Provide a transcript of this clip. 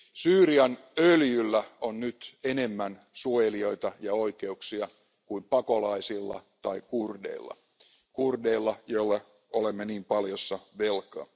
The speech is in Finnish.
Syyrian öljyllä on nyt enemmän suojelijoita ja oikeuksia kuin pakolaisilla tai kurdeilla kurdeilla, joille olemme niin paljossa velkaa.